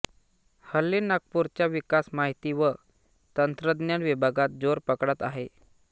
हल्ली नागपूरचा विकास माहिती व तंत्रज्ञान विभागात जोर पकडत आहे